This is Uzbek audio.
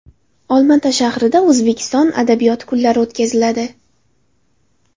Olmaota shahrida O‘zbek adabiyoti kunlari o‘tkaziladi.